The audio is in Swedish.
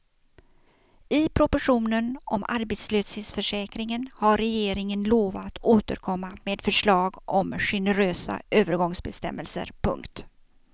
I propositionen om arbetslöshetsförsäkringen har regeringen lovat återkomma med förslag om generösa övergångsbestämmelser. punkt